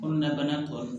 Kɔnɔnabana tɔw